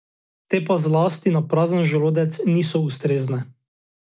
Te pa zlasti na prazen želodec niso ustrezne.